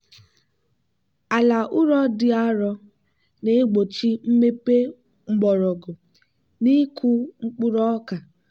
ala ụrọ dị arọ na-egbochi mmepe mgbọrọgwụ n'ịkụ mkpụrụ ọka.